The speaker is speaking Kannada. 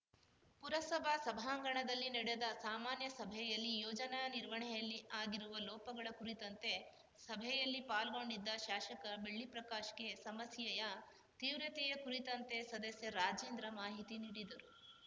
ಪುರಸಭಾ ಸಭಾಂಗಣದಲ್ಲಿ ನಡೆದ ಸಾಮಾನ್ಯಸಭೆಯಲ್ಲಿ ಯೋಜನಾನಿರ್ವಹಣೆಯಲ್ಲಿ ಆಗಿರುವ ಲೋಪಗಳ ಕುರಿತಂತೆ ಸಭೆಯಲ್ಲಿ ಪಾಲ್ಗೊಂಡಿದ್ದ ಶಾಸಕ ಬೆಳ್ಳಿಪ್ರಕಾಶ್‌ಗೆ ಸಮಸ್ಯೆಯ ತೀವ್ರತೆಯ ಕುರಿತಂತೆ ಸದಸ್ಯ ರಾಜೇಂದ್ರ ಮಾಹಿತಿನೀಡಿದರು